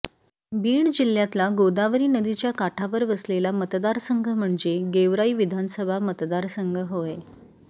बीड जिल्ह्यातला गोदावरी नदीच्या काठावर वसलेला मतदारसंघ म्हणजे गेवराई विधानसभा मतदारसंघ होय